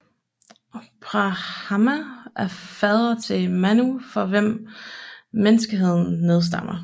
Brahma er fader til Manu fra hvem menneskeheden nedstammer